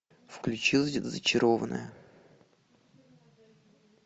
включи зачарованная